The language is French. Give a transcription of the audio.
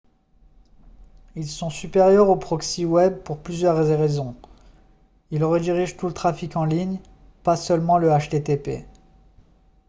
ils sont supérieurs aux proxy web pour plusieurs raisons ils redirigent tout le trafic en ligne pas seulement le http